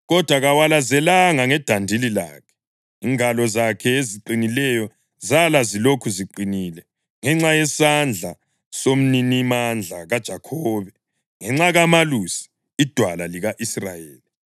Kodwa kawalazelanga ngedandili lakhe, ingalo zakhe eziqinileyo zala zilokhu ziqinile ngenxa yesandla soMninimandla kaJakhobe, ngenxa kaMalusi, iDwala lika-Israyeli,